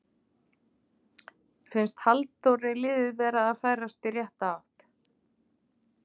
Finnst Halldóri liðið vera að færast í rétta átt?